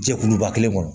Jɛkuluba kelen kɔnɔ